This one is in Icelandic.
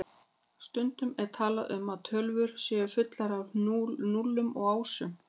Stundum er talað um að tölvur séu fullar af núllum og ásum.